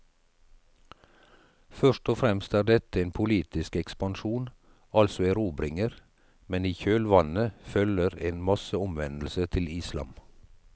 Først og fremst er dette en politisk ekspansjon, altså erobringer, men i kjølvannet følger en masseomvendelse til islam.